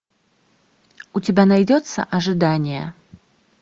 у тебя найдется ожидание